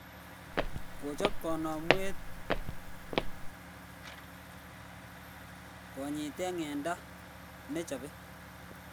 Kochp kanamwet konyete ng'enda ne chapy